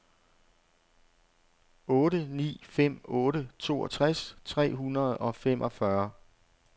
otte ni fem otte toogtres tre hundrede og femogfyrre